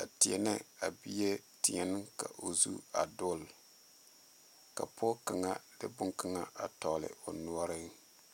a teɛ ne a bie teɛne ka o zu a dul ka pɔge kaŋa de bon kaŋa a tɔgle o noɔre.